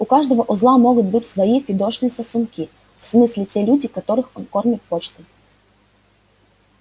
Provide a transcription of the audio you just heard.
у каждого узла могут быть свои фидошные сосунки в смысле те люди которых он кормит почтой